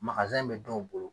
bɛ dɔw bolo